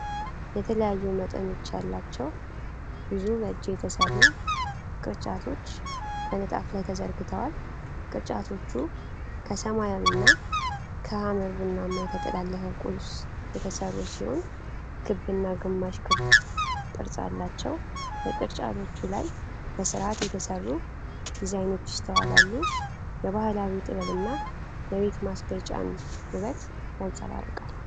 የተለያዩ መጠኖች ያላቸው ብዙ በእጅ የተሰሩ ቅርጫቶች በንጣፍ ላይ ተዘርግተዋል። ቅርጫቶቹ ከሰማያዊና ከሐመር-ቡናማ የተጠላለፈ ቁስ የተሰሩ ሲሆን፣ ክብና ግማሽ ክብ ቅርጽ አላቸው። በቅርጫቶቹ ላይ በስርዓት የተሰሩ ዲዛይኖች ይስተዋላሉ፡፡ የባህላዊ ጥበብና የቤት ማስጌጫን ውበት ያንጸባርቃል።